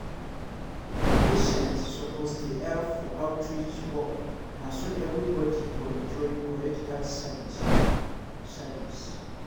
patients suppose dey help for outreach work na so everybody go enjoy correct health service. service.